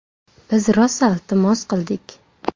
Biz rosa iltimos qildik.